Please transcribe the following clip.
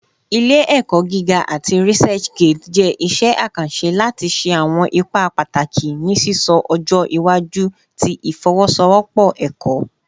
Ile-ẹkọ giga ati ResearchGate jẹ iṣẹ akanṣe lati ṣe awọn ipa pataki ni sisọ ọjọ iwaju ti ifowosowopo ẹkọ.